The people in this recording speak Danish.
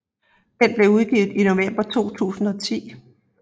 Den blev udgivet i november 2010